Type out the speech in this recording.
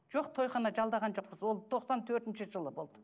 жоқ тойхана жалдаған жоқпыз ол тоқсан төртінші жылы болды